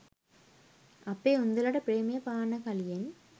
අපේ උන්දලට ප්‍රේමය පාන්න කලියෙන්